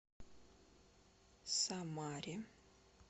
самаре